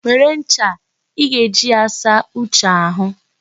Were ncha a, ị ga-eji ya saa Uche ahụ.